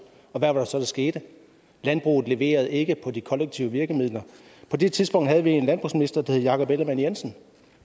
og hvad var det så der skete landbruget leverede ikke på de kollektive virkemidler på det tidspunkt havde vi en landbrugsminister der hed jakob ellemann jensen